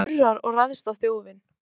Hann urrar og ræðst á þjófinn.